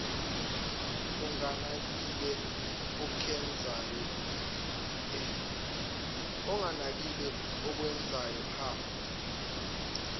unganakile okwenzayo hha